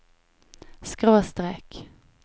skråstrek